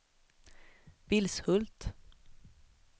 Vilshult